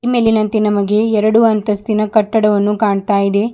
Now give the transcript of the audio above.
ಮೇಲಿನಂತೆ ನಮಗೆ ಎರಡು ಅಂತಾಸ್ತಿನ ಕಟ್ಟಡವನ್ನು ಕಾಣ್ತಾ ಇದೆ.